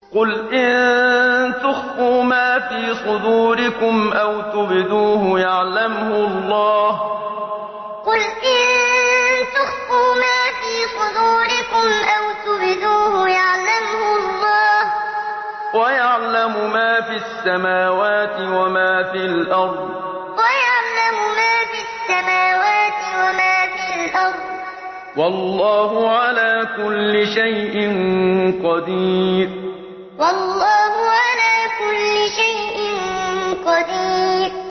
قُلْ إِن تُخْفُوا مَا فِي صُدُورِكُمْ أَوْ تُبْدُوهُ يَعْلَمْهُ اللَّهُ ۗ وَيَعْلَمُ مَا فِي السَّمَاوَاتِ وَمَا فِي الْأَرْضِ ۗ وَاللَّهُ عَلَىٰ كُلِّ شَيْءٍ قَدِيرٌ قُلْ إِن تُخْفُوا مَا فِي صُدُورِكُمْ أَوْ تُبْدُوهُ يَعْلَمْهُ اللَّهُ ۗ وَيَعْلَمُ مَا فِي السَّمَاوَاتِ وَمَا فِي الْأَرْضِ ۗ وَاللَّهُ عَلَىٰ كُلِّ شَيْءٍ قَدِيرٌ